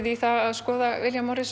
í að skoða William